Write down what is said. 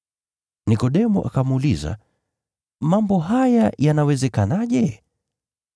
Nikodemo akamuuliza, “Mambo haya yanawezekanaje?”